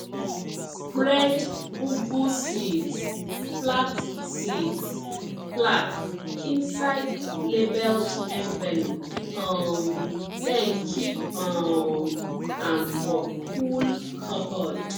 spread ugwu seeds flat seeds flat inside labelled envelope um then keep um am for cool cupboard